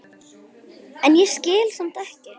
en ég skil samt ekki.